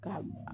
Ka